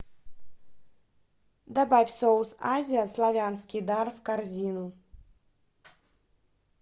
добавь соус азия славянский дар в корзину